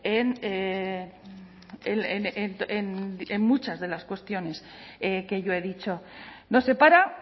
en muchas de las cuestiones que yo he dicho nos separa